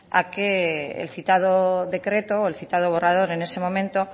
a que el citado decreto o el citado borrador en ese momento